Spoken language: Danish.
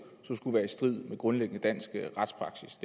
er i strid med grundlæggende dansk retspraksis